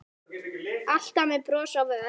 Alltaf með bros á vör.